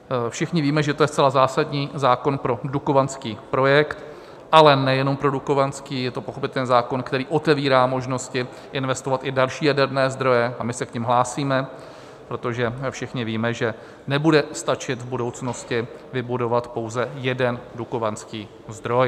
Všichni víme, že to je zcela zásadní zákon pro dukovanský projekt, ale nejenom pro dukovanský, je to pochopitelně zákon, který otevírá možnosti investovat i další jaderné zdroje, a my se k nim hlásíme, protože všichni víme, že nebude stačit v budoucnosti vybudovat pouze jeden dukovanský zdroj.